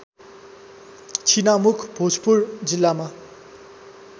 छिनामखु भोजपुर जिल्लामा